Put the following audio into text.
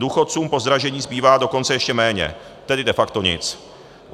Důchodcům po dražení zbývá dokonce ještě méně, tedy de facto nic.